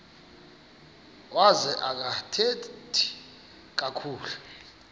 wazo akathethi kakhulu